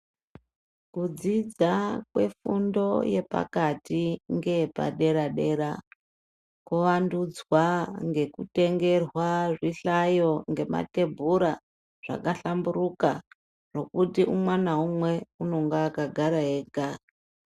Kudzidza kwe fundo yepakati ngeye padera dera ko wandudzwa ngeku tengerwa zvi hlayo nge matebhura zvaka hlamburuka nokuti umwe na umwe unonga akagara ega.